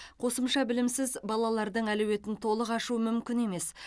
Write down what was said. қосымша білімсіз балалардың әлеуетін толық ашу мүмкін емес